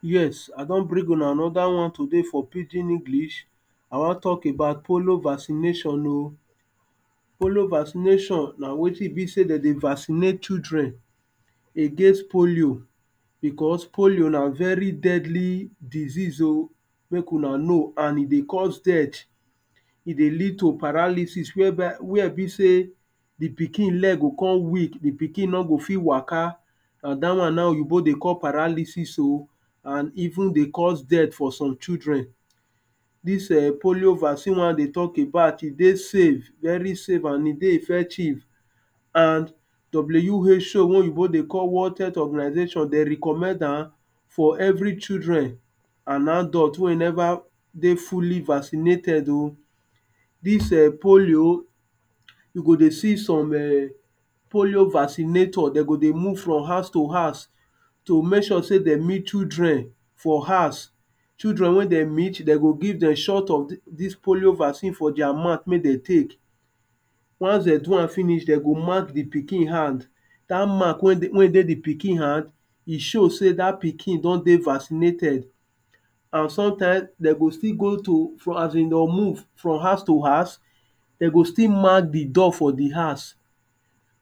Yes, I don bring una another one today for pidgin English,I wan talk about polio vaccination o. polio vaccination, na wetin be sey dem dey vaccinate children against polio because polio na very deadly disease o. make una know and e dey cause dead e dey lead to paralysis where by where e be sey, di pikin leg go come weak di pikin nor go fit waka. na dat one na oyibo dey call paralysis o and even dey cause death for some children, dis um polio vaccine wen I dey talk about e dey safe very safe and e dey effective. and W.H.O wen oyibo dey call world health organisation dem recommend am for every children and adult wey e never dey fully vaccinated o. dis eh polio, you go dey see some um polio vaccinator dem go dey move from house to house to make sure sey dem meet children. for house, children wen dem meet dem go give dem shot of dis polio vaccine for their mouth make dem take. once dem do am finish, dem go mark di pikin hand, dat mark wen e dey di pikin hand e show sey dat pikin don dey vaccinated. and sometime, dem go still go to as in dem move from house to house dem go still mark di door for di house.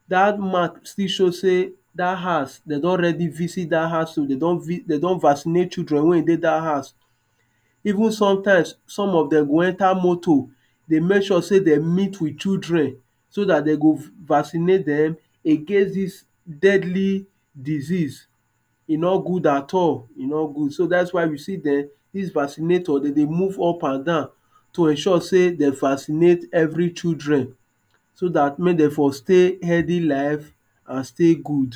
dat mark still show sey, dat house dem don ready visit dat house o, dem don vi dem don vaccinate children wen e dey dat house. even some times, some of dem go enter motor dey make sure sey dem meet with children, so dat dem go vaccinate dem against dis deadly, disease e nor good at all, e nor good so dat is why you see dem dis vaccinator dem dey move up and down to ensure sey dem vascinate every children. so dat make dem for stay healthy life and stay good